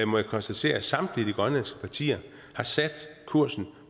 må jeg konstatere at samtlige grønlandske partier har sat kursen